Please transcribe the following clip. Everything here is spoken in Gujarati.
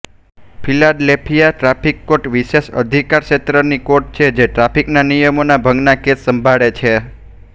ફિલાડેલ્ફિયા ટ્રાફિક કોર્ટ વિશેષ અધિકારક્ષેત્રની કોર્ટ છે જે ટ્રાફિકના નિયમોના ભંગના કેસ સંભાળે છે